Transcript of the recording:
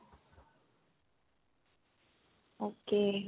okay